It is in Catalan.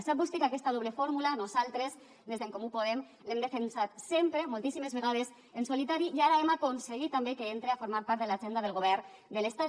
sap vostè que aquesta doble fórmula nosaltres des d’en comú podem l’hem defensat sempre moltíssimes vegades en solitari i ara hem aconseguit també que entre a formar part de l’agenda del govern de l’estat